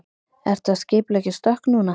Ertu að skipuleggja stökk núna?